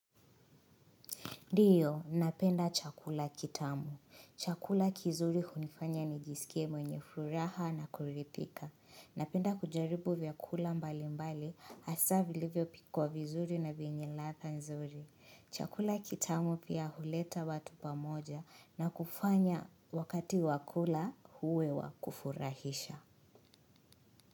Dio, napenda chakula kitamu. Chakula kizuri hunifanya nijiskie mwenye furaha na kuridhika. Napenda kujaribu vyakula mbalimbali hasaa vilivyopikwa vizuri na vienye ladha nzuri. Chakula kitamu pia huleta watu pamoja na kufanya wakati wakula uwe wa kufurahisha.